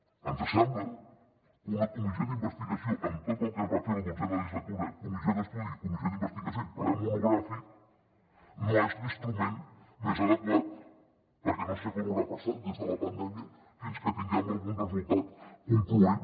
ens sembla que una comissió d’investigació amb tot el que es va fer la dotzena legislatura comissió d’estudi i comissió d’investigació i ple monogràfic no és l’instrument més adequat perquè no sé quant haurà passat des de la pandèmia fins que tinguem algun resultat concloent